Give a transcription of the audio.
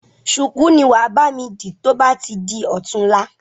ṣùkú ni wàá bami di to bá ti di ọ̀tunla.